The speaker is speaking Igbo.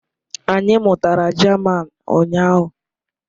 Anyị mụtara German ụnyahụ